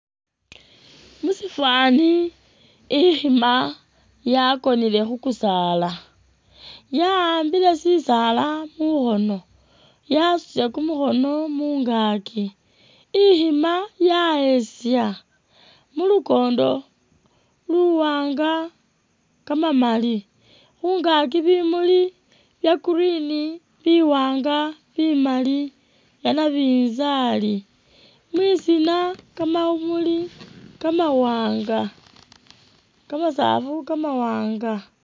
Musifwani i'khima yakonele khukusaala yawambile sisaala mukhoono yasutile kumukhoono mungaki, i'khima ya'eza mulukondo muwaanga kamamaali mungaki bimuli bya green biwaanga bimaali byanabinzali mwisina kamamuli kamawaanga kamasaafu kamawaanga